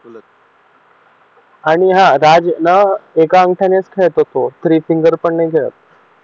आणि राज ना एका अंगठ्याने खेळतो तो थ्री फिंगर पण नाही खेळत